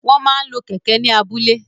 Wọ́n máa ń lo kẹ̀kẹ́ ní abúlé.